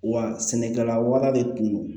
Wa sɛnɛkɛla waga de tun don